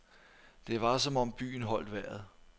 Det var som om byen holdt vejret.